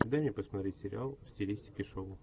дай мне посмотреть сериал в стилистике шоу